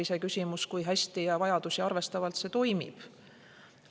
Iseküsimus, kui hästi ja vajadusi arvestavalt see toimib.